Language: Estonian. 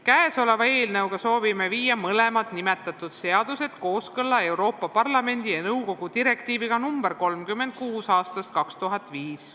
Käesoleva eelnõuga soovime viia mõlemad nimetatud seadused kooskõlla Euroopa Parlamendi ja nõukogu direktiiviga nr 36 aastast 2005.